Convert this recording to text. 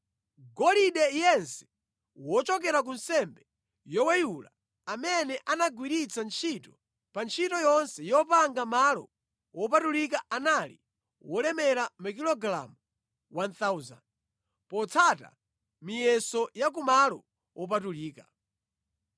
Golide yense wochokera ku nsembe yoweyula amene anagwiritsa ntchito pa ntchito yonse yopanga malo wopatulika anali wolemera makilogalamu 1,000 potsata miyeso ya kumalo wopatulika.